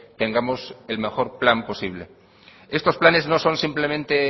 tengamos el mejor plan posible estos planes no son simplemente